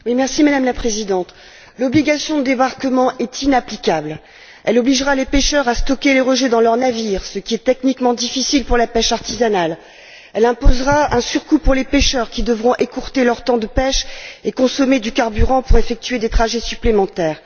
Madame la Présidente, l'obligation de débarquement est inapplicable elle obligera les pêcheurs à stocker les rejets dans leur navire, ce qui est techniquement difficile pour la pêche artisanale, et elle leur imposera un surcoût, puisqu'ils devront écourter leur temps de pêche et consommer du carburant pour effectuer des trajets supplémentaires.